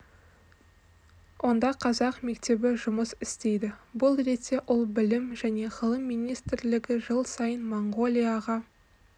онда қазақ мектебі жұмыс істейді бұл ретте ол білім және ғылым министрлігі жыл сайын моңғолияға